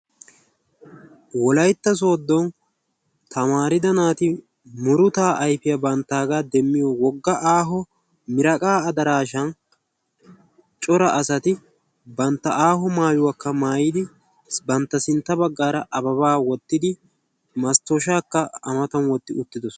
Wolaytta sooddo tamaridda naati bantta muruta ayfiyaa banttaga demmiyoo aaho wogga miraaqqa addarashan cora asati bantta aaho maaayuwaakka maayyidi sintta baggara ababba wottidi masttoshshakka a matan wottidi uttidoosona.